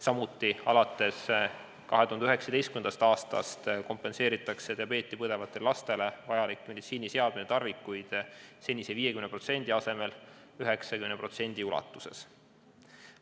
Samuti on alates 2019. aastast kompenseeritud diabeeti põdevatele lastele vajalikud meditsiiniseadmed ja -tarvikud senise 50% asemel 90% ulatuses.